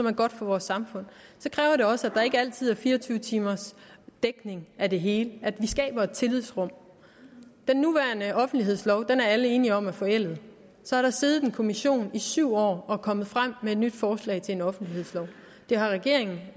er godt for vores samfund kræver det også at der ikke altid er fire og tyve timers dækning af det hele at vi skaber et tillidsrum den nuværende offentlighedslov er alle enige om er forældet så har der siddet en kommission i syv år som er kommet frem med et nyt forslag til en offentlighedslov det har regeringen